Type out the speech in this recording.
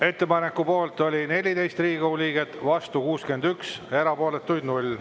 Ettepaneku poolt oli 14 Riigikogu liiget, vastu 61, erapooletuid 0.